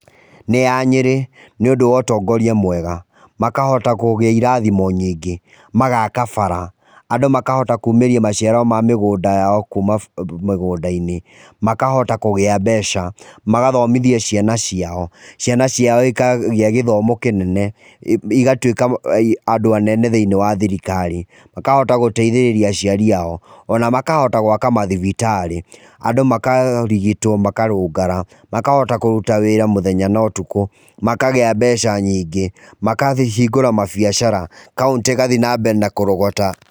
Nĩ ya Nyeri. Nĩũndũ wa ũtongoria mwega, makahota kũgĩa irathimo nyingĩ. Magaaka bara, andũ makahota kuumĩria maciaro ma mĩgũnda yao kuuma mĩgũnda-inĩ. Makahota kũgĩa mbeca, magathomithia ciana ciao. Ciana ciao ikagĩa gĩthomo kĩnene, igatũĩka andũ anene thĩinĩ wa thirikari. Makahota gũteithĩriria aciariao, o na makahota gũaka mathibitarĩ. Andũ makarigitwo makarũngara. Makahota kũruta wĩra mũthenya na ũtukũ, makagĩa mbeca nyingĩ, makahingũra mambiacara, kauntĩ ĩgathi na mbere na kũrogota.